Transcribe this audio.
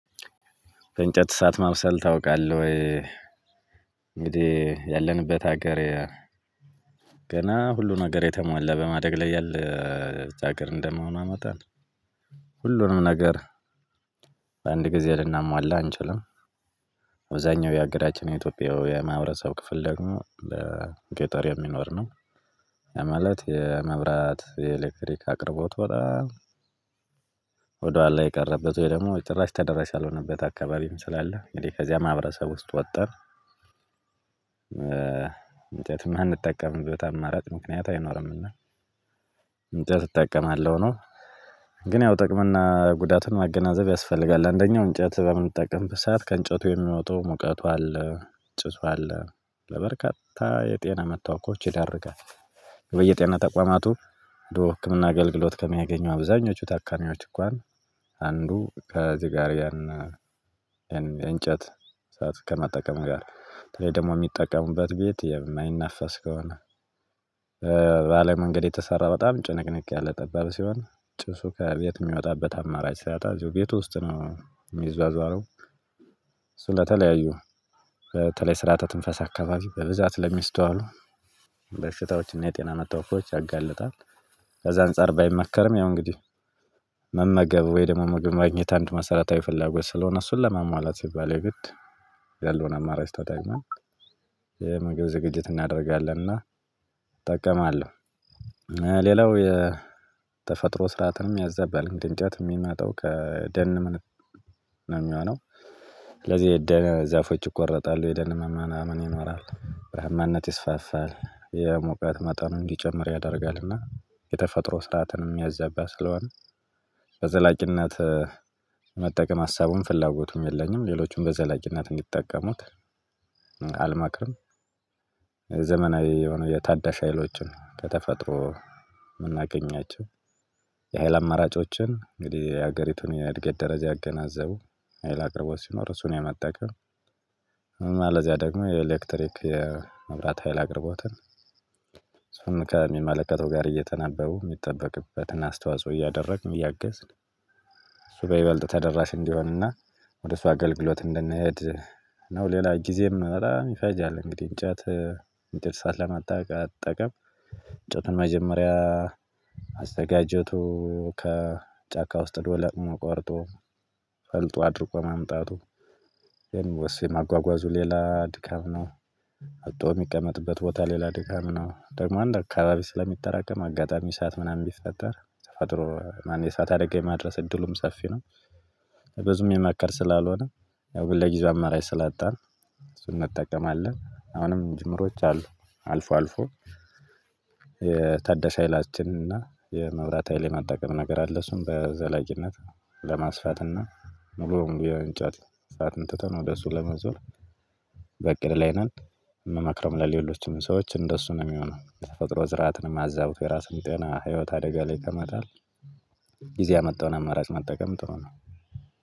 በእንጨት እሳት ማብሰል ታውቃለህ ወይ? እንግዲህ ያለንበት ሀገር ገና ሁሉን ነገር የተሟላ በማደግ ላይ ያለች አገር እንደመሆኗ መጠን ሁሉንም ነገር በአንድ ጊዜ ልናሟላ አንችልም። አብዛኛው የሃገራችን የኢትዮጵያውያን ማህበረሰብ ክፍል ደግሞ በገጠር የሚኖር ነው። ማለት የመብራት የኤሌክትሪክ አቅርቦቱ በጣም ወደኋላ የቀረበት ወይ ደግሞ ጭራሽ ተደራሽ ያልሆነበት አካባቢም ስላለ እንግዲህ ከዚያ ማህበረሰብ ውስጥ ወጠን እንጨት የማንጠቀምበት አማራጭ ምክንያት አይኖርምና። እንጨት እጠቀማለሁ ነው። ግን ያው ጥቅምና ጉዳቱን ማገናዘብ ያስፈልጋል አንደኛው እንጨት በምንጠቅም በሰአት ከእንጨቱ የሚወጣው ሙቀቱ አለ ጭሱ አለ ለበርካታ የጤና መታወኮች ይዳርጋል። በየጤና ተቋማቱ ድሮ ህክምና አገልግሎት ከሚያገኙ አብዛኞቹ ታካሚዎች እንኳን አንዱ ከዚህ ጋር ያን። እንጨት እሳት ከመጠቀም ጋር በተለይ ደግሞ የሚጠቀሙበት ቤት የማይነፈስ ከሆነ። በአለም መንገድ የተሰራ በጣም ጭንቅንቅ ያለ ጠባብ ሲሆን ጭሱ ከቤት የሚወጣበት አማራጭ ሲያጣ አዚሁ ቤት ውስጥ ነው የሚዟዟረው። ስለተለያዩ በተለይ ስርዓተ ትንፈሳ አካባቢ በብዛት ለሚስተዋሉ በሽታዎችና የጤና መታወኪያዎች ያጋልጣል። ከዛ አንፃር ባይመከርም ያው እንግዲህ መመገብ ወይም ደግሞ ምግብ ማግኘት አንድ መሰረታዊ ፍላጎት ስለሆነ እሱን ለሟሟላት ሲባል የግድ ያለውን አማራጭ ተጠቅመን የምግብ ዝግጅት እናደርጋለንና። እጠቀማለሁ ሌላው የተፈጥሮ ስርዓትንም ያዛበባል አንድ እንጨት የሚመጣው ከደን ነው የሚሆነው። ስለዚህ የደን ዛፎች ይቆረጣሉ የደን መመናመን ይኖራል በረሃማነት ይስፋፋል የሙቀት መጠኑ እንዲጨምር ያደርጋልና የተፈጥሮ ስርዓትንም ሚያዛባ ስለሆነ። በዘላቂነት መጠቀም ሀሳቡም ፍላጎቱም የለኝም። ሌሎችም በዘላቂነት እንዲጠቀሙት አልመክርም። ዘመናዊ የሆነ የታዳሽ ሀይሎችን ከተፈጥሮ የምናገኛቸው የኃይል አማራጮችን እንግዲህ የሀገሪቱን የእድገት ደረጃ ያገናዘቡ ሀይል አቅርቦት ሲኖር እሱን የመጠቀም እና ለዚያ ደግሞ የኤሌክትሪክ የመብራት ሀይል አቅርቦትን። ከሚመለከተው ጋር እየተናበቡ የሚጠበቅበትን አስተዋጽኦ እያደረግን እያገዝን። በይበልጥ ተደራሽ እንዲሆንና ወደ እሱ አገልግሎት እንድንሄድ ነው። ሌላ ጊዜም በጣም ይፈጃል እንግዲህ እንጨት እንጨት እሳት ለመጠቀም እንጨቱን መጀመሪያ ማዘጋጀቱ ከጫካ ውስጥ ሂዶ ለቅሞ ቆርጦ ፈልጦ አድርቆ ማምጣቱ ኤኒዌይስ ማጓጓዙ ሌላ ድካም ነው። መጥቶ የሚቀመጥበት ቦታ ሌላ ድካም ነው ደግሞ አንድ አካባቢ ስለሚጠራቀም አጋጣሚ እሳት ምናምን ቢፈጠር ተፈጥሮ ማን የሳት አደጋ የማድረስ እድሉም ሰፊ ነው። ብዙም ሚመከር ስላልሆነ ያው ግን ለጊዜው አማራጭ ስላጣን እሱን እንጠቀማለን። አሁንም ጅምሮች አሉ አልፎ አልፎ የታደሽ ኃይላችን እና የመብራት ሀይል የመጠቀም ነገር አለ እሱን በዘላቂነት ለማስፋትና ሙሉውን የእንጨት እሳትን ትተን ወደ እሱ ለመዞር። በእቅድ ላይ ነን። የምመክረው ለሌሎችም ሰዎች እንደሱ ነው የሚሆነው የተፈጥሮ ስርአትንም አዛቡቶ የራስንም ጤና ህይወት አደጋ ላይ ከመጣል። ጊዜ ያመጣውን አማራጭ መጠቀም ጥሩ ነው።